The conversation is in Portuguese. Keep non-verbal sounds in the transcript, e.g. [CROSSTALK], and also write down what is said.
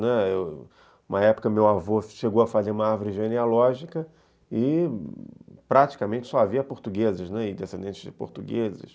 [UNINTELLIGIBLE] Uma época meu avô chegou a fazer uma árvore genealógica e praticamente só havia portugueses e descendentes de portugueses.